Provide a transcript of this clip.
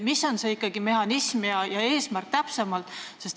Mis on ikkagi täpsemalt see mehhanism ja eesmärk?